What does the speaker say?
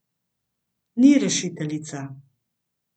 Ni rešiteljica.